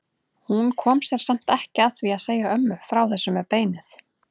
Hún kom sér samt ekki að því að segja ömmu frá þessu með beinið.